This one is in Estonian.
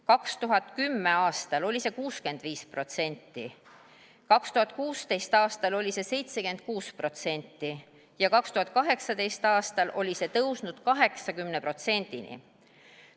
2010. aastal oli see 65%, 2016. aastal oli see 76% ja 2018. aastal oli see tõusnud 80%-ni.